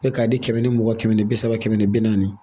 E k'a di kɛmɛ ni mugan kɛmɛ ni bi saba kɛmɛ ni bi naani